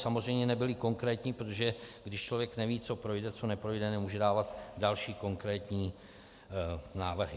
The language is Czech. Samozřejmě nebyly konkrétní, protože když člověk neví, co projde a neprojde, nemůže dávat další konkrétní návrhy.